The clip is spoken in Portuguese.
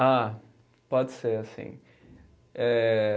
Ah, pode ser assim. Eh